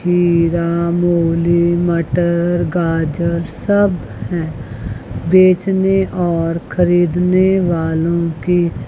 खीरा मूली मटर गाजर सब है बेचने और खरीदने वालों की--